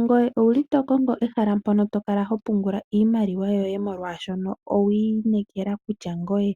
Ngoye owuli to kongo ehala mpono to kala ho pungula iimaliwa yoye molwaashono owi inekela kutya ngoye